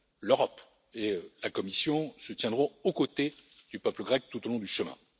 L'Europe et la Commission se tiendront aux côtés du peuple grec tout au long du chemin.